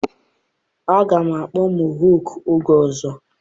Aga m akpụ Mohọk oge ọzọ.